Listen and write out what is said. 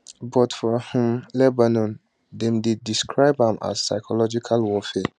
but for um lebanon dem dey describe am as psychological warfare